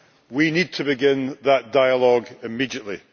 We need to begin that dialogue immediately.